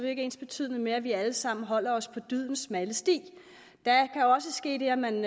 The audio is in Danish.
ikke ensbetydende med at vi alle sammen holder os på dydens smalle sti der kan også ske det at man